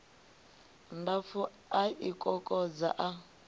ndapfu a i kokodza a